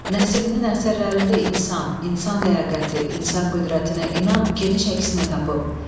Nəsiminin əsərlərində insan, insan ləyaqəti, insan qüdrətinə inam geniş əksini tapıb.